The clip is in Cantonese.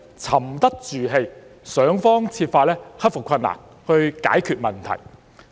沉得住氣，想方設法克服困難，解決問題。